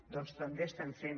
doncs també estem fent